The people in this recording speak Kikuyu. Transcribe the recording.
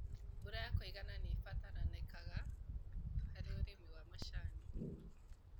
Mbura ya kũigana nĩibatarĩkanaga harĩ ũrĩmi wa macani.